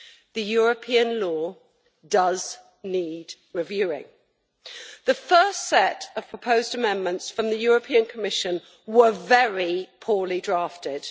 The European law does need reviewing. The first set of proposed amendments from the Commission was very poorly drafted.